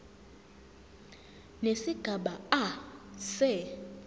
nesigaba a se